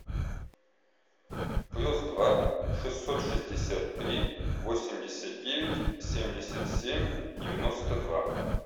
плюс два шестьсот шестьдесят три восемьдесят девять семьдесят семь девяносто два